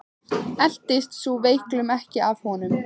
Eltist sú veiklun ekki af honum.